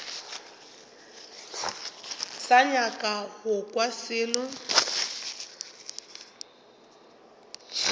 sa nyaka go kwa selo